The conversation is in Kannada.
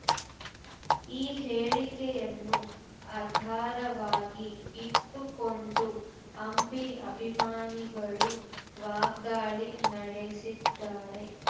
ಈ ಹೇಳಿಕೆಯನ್ನು ಆಧಾರವಾಗಿ ಇಟ್ಟುಕೊಂಡು ಅಂಬಿ ಅಭಿಮಾನಿಗಳು ವಾಗ್ದಾಳಿ ನಡೆಸಿದ್ದಾರೆ